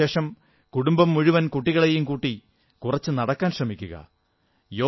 അത്താഴത്തിനുശേഷം കുടുംബം മുഴുവൻ കുട്ടികളെയും കൂട്ടി കുറച്ചു നടക്കുവാൻ ശ്രമിക്കുക